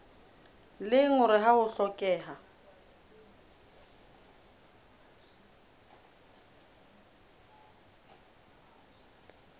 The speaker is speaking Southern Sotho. leng hore ha ho hlokehe